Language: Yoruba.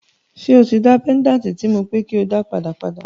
So tí dá péńdàtì tí mo sọ pé ko dá padà, padà?